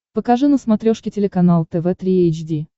покажи на смотрешке телеканал тв три эйч ди